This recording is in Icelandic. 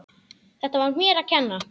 Þetta var mér að kenna.